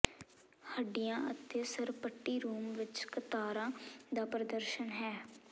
ਹੱਡੀਆਂ ਅਤੇ ਸਰਪਟੀ ਰੂਮ ਵਿਚ ਕਤਾਰਾਂ ਦਾ ਪ੍ਰਦਰਸ਼ਨ ਹੈ